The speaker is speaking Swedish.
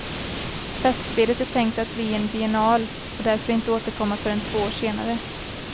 Festspelet är tänkt att bli en biennal och därför inte återkomma förrän två år senare.